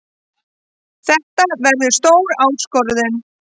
Þetta verður stór áskorun.